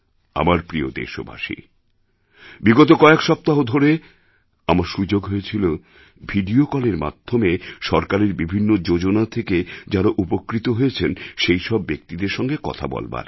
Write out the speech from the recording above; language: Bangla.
আমার প্রিয় দেশবাসী বিগত কয়েক সপ্তাহ ধরে আমার সুযোগ হয়েছিল ভিডিও কলের মাধ্যমে সরকারের বিভিন্ন যোজনা থেকে যাঁরা উপকৃত হয়েছেন সেই সব ব্যক্তিদের সঙ্গে কথা বলবার